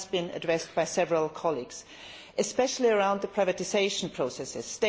It has been addressed by several colleagues, especially concerning the privatisation processes.